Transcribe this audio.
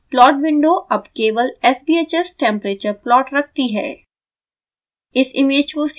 ध्यान दें plot window अब केवल sbhs temperature plot रखती है